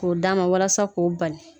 K'o d'a ma walasa k'o bali